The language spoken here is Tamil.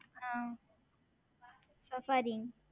ஆஹ் Saffari